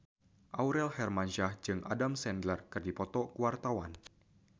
Aurel Hermansyah jeung Adam Sandler keur dipoto ku wartawan